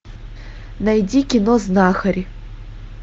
найди кино знахарь